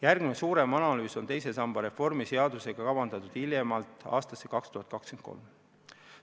Järgmine suurem analüüs on teise samba reformi seadusega seotult kavandatud hiljemalt aastaks 2023.